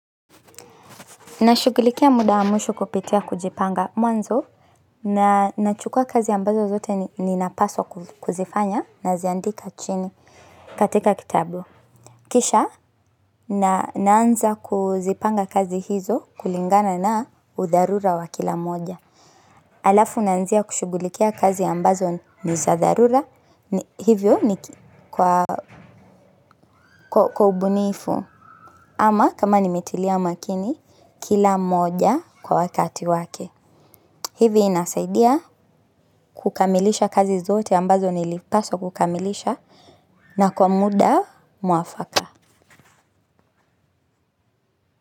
Nashugulikia muda wa mwisho kupitia kujipanga mwanzo na nachukua kazi ambazo zote ninapaswa kuzifanya naziandika chini katika kitabu. Kisha naanza kuzipanga kazi hizo kulingana na udharura wa kila moja. Alafu naanzia kushugulikia kazi ambazo ni za dharura hivyo ni kwa ubunifu ama kama nimetilia makini kila moja kwa wakati wake. Hivi inasaidia kukamilisha kazi zote ambazo nilipaswa kukamilisha na kwa muda mwafaka.